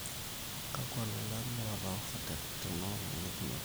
kakwa lolan loota ofa tenkolong e jumapili